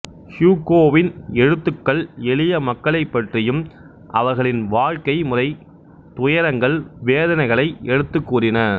ஹியூகோவின் எழுத்துக்கள் எளிய மக்களைப் பற்றியும் அவர்களின் வாழ்க்கை முறை துயரங்கள் வேதனைகளை எடுத்துக் கூறின